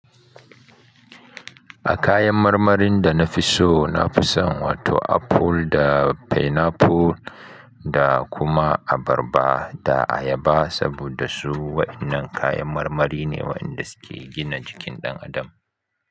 A kayan marmarin dana fiso, nafi son wato apple da pineapple da kuma abarba da ayaba saboda su waɗannan kayan marmari ne waɗanda suke gina jikin ɗan adam.